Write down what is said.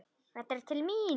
Þetta er til mín!